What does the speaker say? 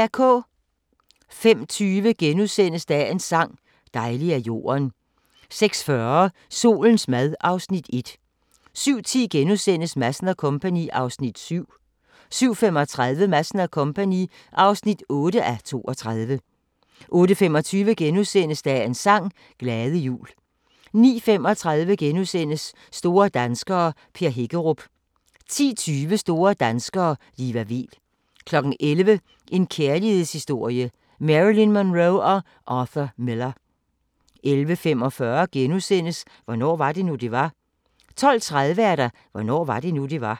05:20: Dagens sang: Dejlig er jorden * 06:40: Solens mad (Afs. 1) 07:10: Madsen & Co. (7:32)* 07:35: Madsen & Co. (8:32) 08:25: Dagens sang: Glade jul * 09:35: Store danskere - Per Hækkerup * 10:20: Store danskere - Liva Weel 11:00: En kærlighedshistorie – Marilyn Monroe & Arthur Miller 11:45: Hvornår var det nu, det var? * 12:30: Hvornår var det nu, det var?